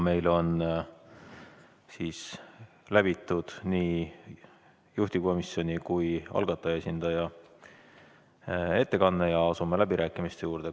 Meil on kuulatud nii juhtivkomisjoni kui ka algataja esindaja ettekanne ja asume läbirääkimiste juurde.